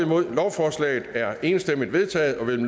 nul lovforslaget er enstemmigt vedtaget og vil